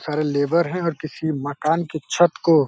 सारे लेबर हैं और किसी मकान की छत को --